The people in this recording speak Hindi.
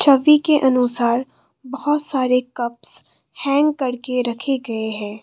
छवि के अनुसार बहुत सारे कप्स हैंग करके रखे गए हैं।